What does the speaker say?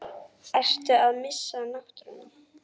Ertu að missa náttúruna?